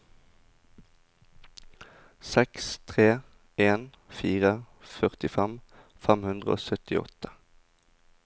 seks tre en fire førtifem fem hundre og syttiåtte